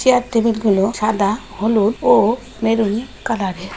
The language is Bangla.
চায়ের টেবিলগুলো সাদা হলুদ ও মেরুন কালারের ।